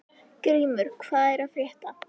Grímur, hvað er að frétta?